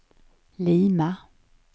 Lima